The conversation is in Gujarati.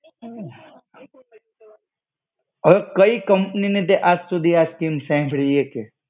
અવે કઈ કંપનીની તે આજ સુધી આ સ્કીમ સાંભળી એ કેહ?